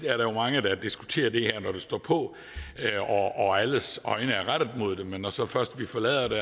at der er mange der diskuterer det her når det står på og alles øjne er rettet mod dem men når vi så først forlader det